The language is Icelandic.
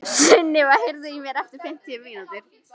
Sunniva, heyrðu í mér eftir fimmtán mínútur.